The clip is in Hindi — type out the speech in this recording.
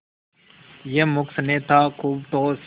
यह मूक स्नेह था खूब ठोस